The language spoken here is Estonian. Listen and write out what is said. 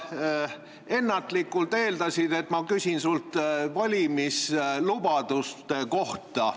Sa ennatlikult eeldasid, et ma küsin sult valimislubaduste kohta.